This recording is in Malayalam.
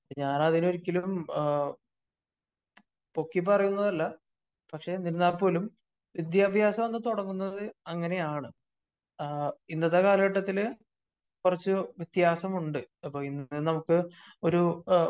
അപ്പോ ഞാൻ ഒരിക്കലും പൊക്കി പറയുന്നതല്ല.പക്ഷേ എന്നിരുന്നാൽ പോലും വിദ്യാഭ്യാസം അന്ന് തുടങ്ങുന്നത് അങ്ങനെയാണ്. ആ ഇന്നത്തെ കാലഘട്ടത്തില് കുറച്ച് വ്യത്യാസമുണ്ട്. അപ്പോ ഇന്നു നമുക്ക് ഒരു